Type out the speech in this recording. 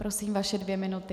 Prosím, vaše dvě minuty.